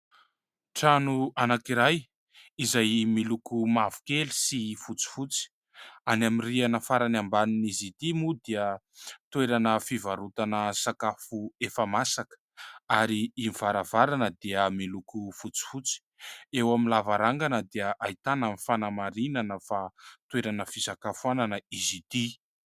Trano anankiray izay miloko mavokely sy fotsifotsy any amin'ny rihana farany ambany, izy ity moa dia toerana fivarotana sakafo efa masaka ary ny varavarana dia miloko fotsifotsy, eo amin'ny lavarangana dia ahitana amin'ny fanamarinana fa toerana fisakafoanana izy ity.